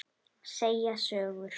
Segja sögur.